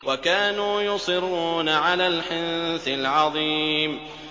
وَكَانُوا يُصِرُّونَ عَلَى الْحِنثِ الْعَظِيمِ